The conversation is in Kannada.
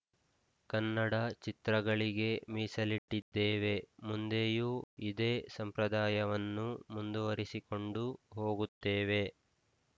ಕನ್ನಡ ಚಿತ್ರಗಳಿಗೆ ಮೀಸಲಿಟ್ಟಿದ್ದೇವೆ ಮುಂದೆಯೂ ಇದೇ ಸಂಪ್ರದಾಯವನ್ನು ಮುಂದುವರಿಸಿಕೊಂಡು ಹೋಗುತ್ತೇವೆ